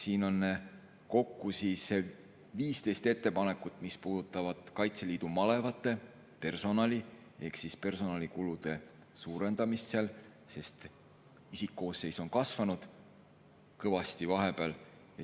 Siin on kokku 15 ettepanekut, mis puudutavad Kaitseliidu malevate personali ehk personalikulude suurendamist, sest isikkoosseis on kõvasti kasvanud vahepeal.